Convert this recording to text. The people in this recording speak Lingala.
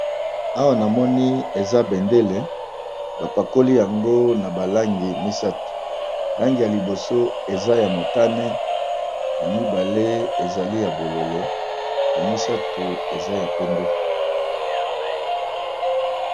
Awa na moni eza bendele bapakoli yango na balangi misato langi ya liboso eza ya motane ya mibale ezali ya bololo ya misato eza ya pembe.